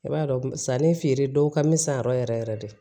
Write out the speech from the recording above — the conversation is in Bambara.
I b'a dɔn sanni feere dɔw ka misɛn yɛrɛ yɛrɛ de